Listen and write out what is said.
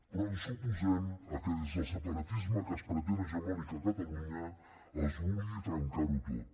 però ens oposem a que des del separatisme que es pretén hegemònic a catalunya es vulgui trencar ho tot